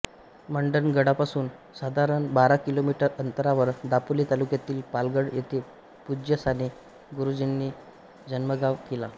मंडणगडपासून साधारण बारा किलोमीटर अंतरावर दापोली तालुक्यातील पालगड येथे पूज्य साने गुरुजींचे जन्मगाव आहे